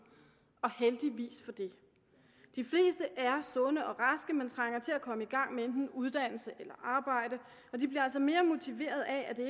og heldigvis for det de fleste er sunde og raske men trænger til at komme i gang med enten uddannelse eller arbejde og de bliver altså mere motiveret af at det